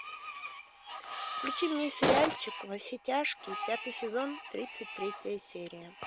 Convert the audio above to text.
включи мне сериальчик во все тяжкие пятый сезон тридцать третья серия